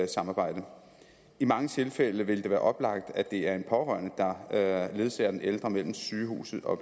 samarbejde i mange tilfælde vil det være oplagt at det er en pårørende der ledsager den ældre mellem sygehuset og